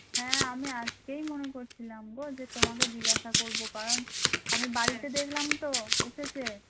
হ্যাঁ আমি আজকেই মনে করছিলাম গো তোমাকে জিজ্ঞাসা করব কারণ আমি বাড়িতে দেখলাম তো এসেছে